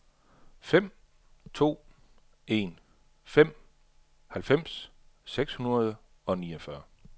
fem to en fem halvfems seks hundrede og niogfyrre